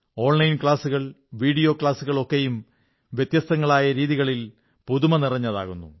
online ക്ലാസുകൾ video ക്ലാസുകൾ ഒക്കെയും വ്യത്യസ്തങ്ങളായ രീതികളിൽ പുതുമ നിറഞ്ഞതാക്കുന്നു